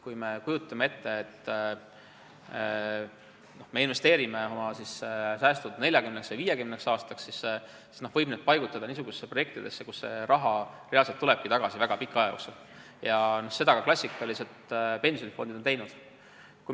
Kui me kujutame ette, et investeerime oma säästud 40 või 50 aastaks, siis võib need paigutada niisugustesse projektidesse, kus see raha reaalselt tulebki tagasi väga pika aja jooksul, ja seda klassikalised pensionifondid on ka teinud.